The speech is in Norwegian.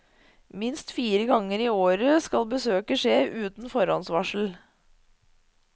Minst fire ganger i året skal besøket skje uten forhåndsvarsel.